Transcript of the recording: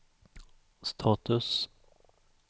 status